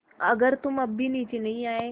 अगर तुम अब भी नीचे नहीं आये